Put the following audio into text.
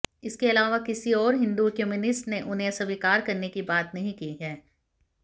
इसके अलावा किसी और हिंदू कम्यूनिटी ने उन्हें स्वीकार करने की बात नहीं कही है